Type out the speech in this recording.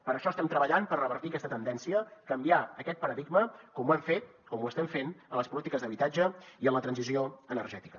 per això estem treballant per revertir aquesta tendència canviar aquest paradigma com ho hem fet com ho estem fent en les polítiques d’habitatge i en la transició energètica